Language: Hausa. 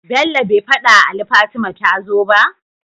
bello be fadawa Ali Fatima tazo ba?